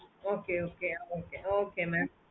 okay okay okay okay mam